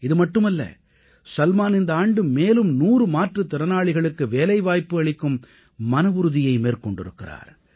இதுமட்டுமல்ல சல்மான் இந்த ஆண்டு மேலும் 100 மாற்றுத் திறனாளிகளுக்கு வேலைவாய்ப்பு அளிக்கும் மனவுறுதியை மேற்கொண்டிருக்கிறார்